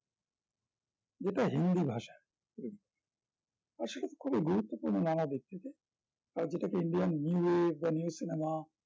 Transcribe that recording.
যেটা হিন্দি ভাষায় আসলে খুবই গুরুত্বপূর্নমনা ব্যক্তিদের আজ যেটাকে indian new race বা new cinema